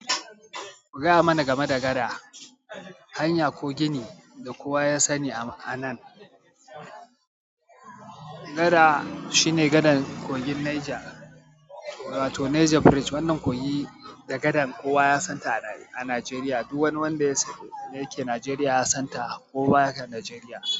Ku gaya mana game da gada, hanya ko gini da kowa ya sani a nan. Gada shine gadar kogin Niger, to Niger Bridge. Wannan kogi da gadan kowa ya san ta a Najeriya. Duk wani wanda yake Najeriya ya san ta ko ba ya Najeriya.